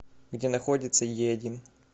где находится еодин